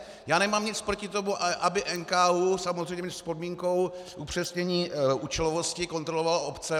Já nemám nic proti tomu, aby NKÚ, samozřejmě s podmínkou upřesnění účelovosti, kontroloval obce.